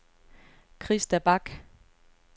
Christa Bach